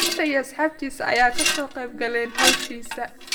Cidisa iyo asxabtisa aya kasoqebkaleen xawashisa.